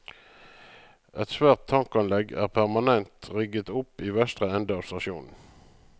Et svært tankanlegg er permanent rigget opp i vestre ende av stasjonen.